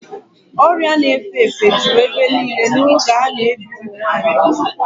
Ọrịa na-efe efe juru ebe niile n'oge a na-ebi ụmụ nwanyị ugwu.